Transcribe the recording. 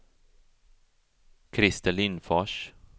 Krister Lindfors